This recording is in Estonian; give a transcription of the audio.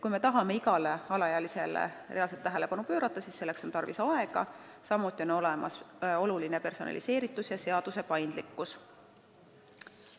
Kui me tahame igale alaealisele reaalselt tähelepanu pöörata, siis selleks on tarvis aega, samuti on oluline personaliseeritus ja seaduse paindlikkus.